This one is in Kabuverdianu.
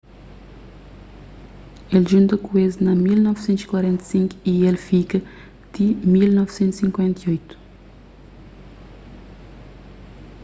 el djunta ku es na 1945 y el fika ti 1958